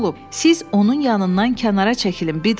Siz onun yanından kənara çəkilim, Biddl.